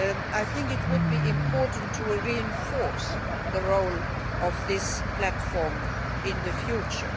I think it would be important to reinforce the role of this platform in the future.